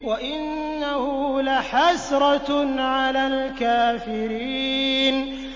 وَإِنَّهُ لَحَسْرَةٌ عَلَى الْكَافِرِينَ